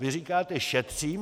Vy říkáte: Šetřím.